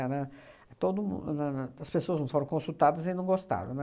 Todo mun na na as pessoas não foram consultadas e não gostaram, né?